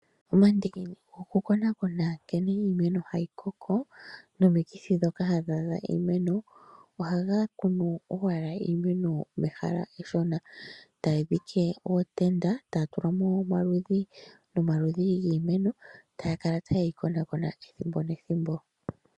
Omandiki gokukonakona nkene iimeno hayi koko nomikithi ndhoka hadhi adha iimeno ohaga kunu owala iimeno yehala eshona, taya dhike ootenda taya tula mo omaludhi nomaludhi giimeno taya kala taye yi konakona ethimbo nethimbo.